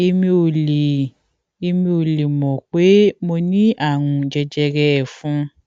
èmi ò lè èmi ò lè mọ pé mo ní àrùn jẹjẹrẹ ẹfun